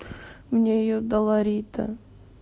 мне её дала рита